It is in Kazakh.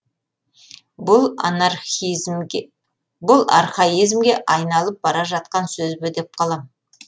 бұл архаизмге айналып бара жатқан сөз бе деп қалам